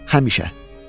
Həmişə.